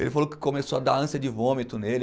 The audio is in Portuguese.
Ele falou que começou a dar ânsia de vômito nele.